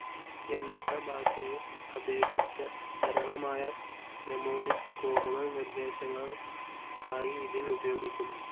യന്ത്ര ഭാഷയെ അപേക്ഷിച്ച സരളമായ മ്നെമോണിക്‌ കോഡുകൾ നിർദ്ദേശങ്ങൾആയി ഇതിൽ ഉപയോഗികുന്നു..